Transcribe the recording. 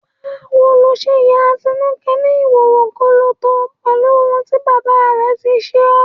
Báwo lo ṣe ya Atinúkẹ́ ní ìhòòhò gọlọtọ pẹ̀lú ohun tí bàbá rẹ̀ tí ṣe ọ́?